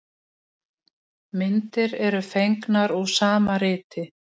Myndir eru fengnar úr sama riti.